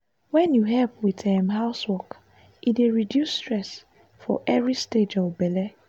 wen you help with um housework e dey reduce stress for every stage of belle.